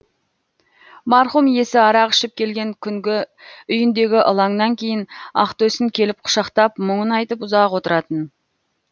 марқұм иесі арақ ішіп келген күнгі үйіндегі ылаңнан кейін ақтөсін келіп құшақтап мұңын айтып ұзақ отыратын